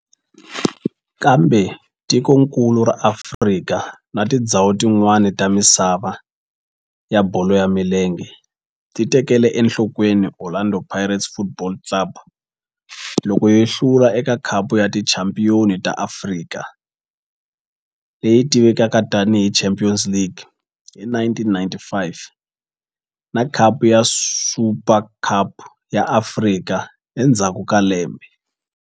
Kambe tikonkulu ra Afrika na tindzhawu tin'wana ta misava ya bolo ya milenge ti tekele enhlokweni Orlando Pirates Football Club loko yi hlula eka Khapu ya Tichampion ta Afrika, leyi tivekaka tani hi Champions League, hi 1995 na Khapu ya Super ya Afrika endzhaku ka lembe.